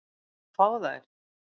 Og fá þær.